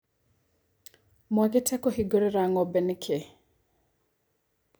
Mwagĩte kũhingũrĩra ngombe nĩkĩ.